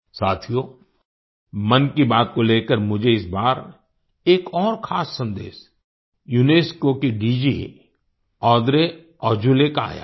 साथियो मन की बात को लेकर मुझे इस बार एक और खास संदेश यूनेस्को की DG Audrey Azoulay Audrey Azoulay का आया है